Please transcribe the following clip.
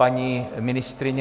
Paní ministryně?